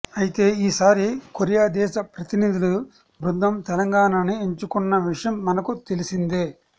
అయితే ఈసారి కొరియా దేశ ప్రతినిధుల బృందం తెలంగాణ ని ఎంచుకున్న విషయం మనకు తెలిసిందే